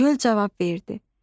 Göl cavab verdi: